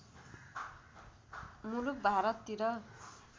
मुलुक भारततिर